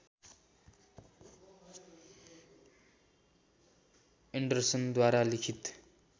एन्डरसनद्वारा लिखित